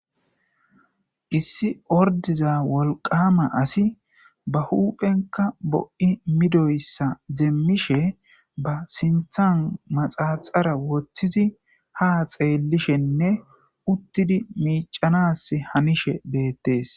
Issi ordiza wolqama asi ba huuphenka bo'i midoyssa deemmishe ba sinthan maxaaxara woththizi ha xeellishenne uttidi miicanas hanishe beettees.